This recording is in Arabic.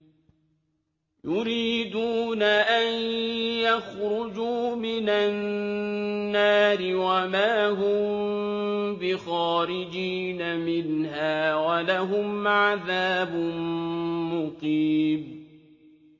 يُرِيدُونَ أَن يَخْرُجُوا مِنَ النَّارِ وَمَا هُم بِخَارِجِينَ مِنْهَا ۖ وَلَهُمْ عَذَابٌ مُّقِيمٌ